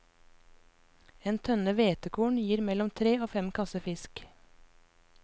En tønne hvetekorn gir mellom tre og fem kasser fisk.